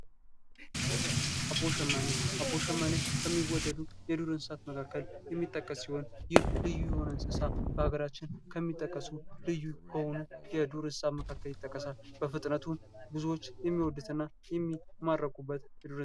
አቦሸማኔ አቦሸማኔ ከሚወደዱ የዱር እንስሳት መካከል የሚጠቀስ ሲሆን ይህ ልዩ የሆነ እንስሳ በሀገራችን ከሚጠቀሱ ልዩ የሆነ ከዱር እንስሳ መካከል ይጠቀሳል በፍጥነቱ ብዙዎች የሚወዱትና የሚማረኩበት የዱር እንስሳ ነው።